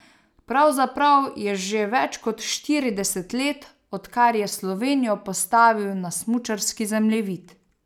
Pravzaprav je že več kot štirideset let, od kar je Slovenijo postavil na smučarski zemljevid.